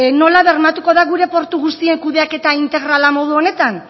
nola bermatuko da gure portu guztien kudeaketa integrala modu honetan